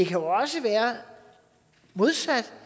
jo også være modsat